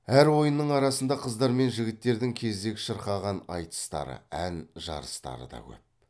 әр ойынның арасында қыздар мен жігіттердің кезек шырқаған айтыстары ән жарыстары да көп